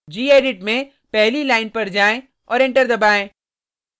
gedit में पहली line पर जाएँ और एंटर दबाएँ